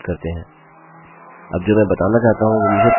अब जो मैं बताना चाहता हूँ वो मुझे प्रारंभ से शुरू करने दीजिये